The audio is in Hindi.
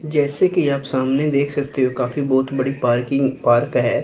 जैसे कि आप सामने देख सकते हो काफी बहोत बड़ी पार्किंग पार्क है।